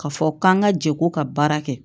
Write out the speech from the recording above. Ka fɔ k'an ka jɛ ko ka baara kɛ